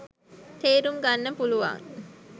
තේරුම් ගන්න පුළුවන්